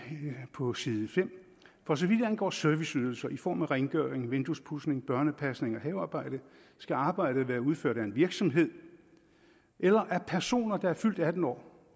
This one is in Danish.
på side 5 for så vidt angår serviceydelser i form af rengøring vinduespudsning børnepasning og havearbejde skal arbejdet være udført af en virksomhed eller af personer der er fyldt atten år